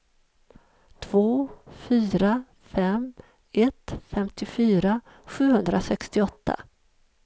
två fyra fem ett femtiofyra sjuhundrasextioåtta